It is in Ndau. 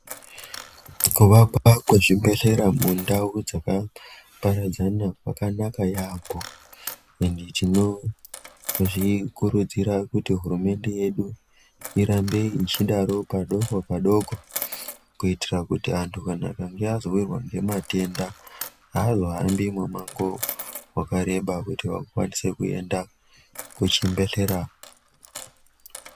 Kuvakwa kwe zvibhedhlera ku ndau dzaka paradzana kwakanaka yambo ende tinozvi kudzira kuti hurumende yedu irambe ichidaro padoko padoko kuitira kuti antu akange azo wirwa ne matenda haazo hambi nepakuru pakareba kuti vakwanide kuenda ku chibhedhlera.